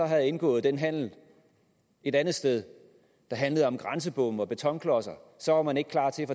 havde indgået den handel et andet sted der handlede om grænsebomme og betonklodser så var man ikke klar til